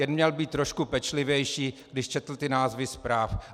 Jen měl být trošku pečlivější, když četl ty názvy zpráv.